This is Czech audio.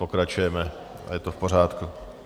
Pokračujeme a je to v pořádku.